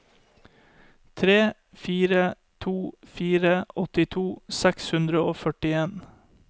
tre fire to fire åttito seks hundre og førtien